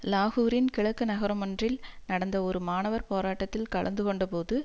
லாகூரின் கிழக்கு நகரமொன்றில் நடந்த ஒரு மாணவர் போராட்டத்தில் கலந்து கொண்ட போது